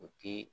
O ti